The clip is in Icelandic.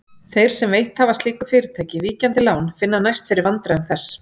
Þeir sem veitt hafa slíku fyrirtæki víkjandi lán finna næst fyrir vandræðum þess.